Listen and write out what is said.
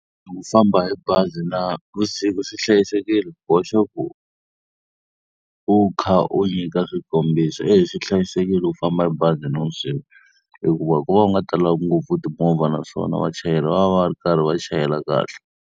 Ku famba hi bazi na vusiku swi hlayisekile? Boxa ku u kha u nyika swikombiso. E swi hlayisekile ku famba hi bazi navusiku, hikuva ku va u nga talangi ngopfu timovha naswona vachayeri va va va ri karhi va chayela kahle.